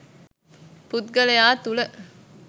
පුද්ගලයා තුළ